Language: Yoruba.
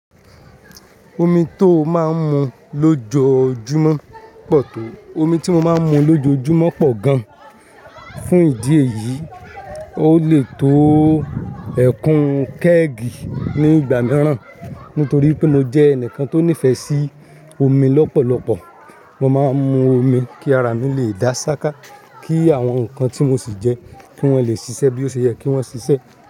Omi tó máa ń mu lójojúmọ́ pọ̀ to? Omu tí mo máa ń mu lójojúmọ́ pọ̀ gán. Fún ìdí èyí, ó lè tó ẹẹ́kún kẹ́ẹ̀gì ní ìgbà mìíràn, nítorí pé mo jẹ́ ẹnìkan tó nífẹ̀ sí omi lọ́pọ̀lọpọ̀. Mo máa ń mu omi kí ara mi lè dá ṣáká, kí àwọn nǹkan tí mo sì jẹ kí wọ́n lè ṣiṣẹ́ bí ó ṣe yẹ kí wọ́n ṣiṣẹ́.